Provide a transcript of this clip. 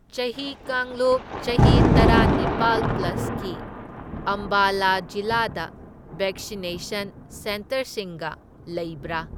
ꯆꯍꯤ ꯀꯥꯡꯂꯨꯞ ꯆꯍꯤ ꯇꯔꯥꯅꯤꯄꯥꯜ ꯄ꯭ꯂꯁꯀꯤ ꯑꯝꯕꯥꯂꯥ ꯖꯤꯂꯥꯗ ꯕꯦꯛꯁꯤꯅꯦꯁꯟ ꯁꯦꯟꯇꯔꯁꯤꯡꯒ ꯂꯩꯕ꯭ꯔꯥ?